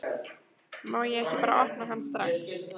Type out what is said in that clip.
Má ég ekki bara opna hann strax?